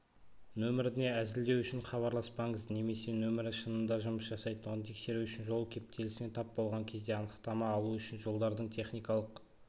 нөміріне әзілдеу үшін хабарласпаңыз немесе нөмірі шынында жұмыс жасайтындығын тексеру үшін жол кептелісіне тап болған кезде анықтама алу үшін жолдардың техникалық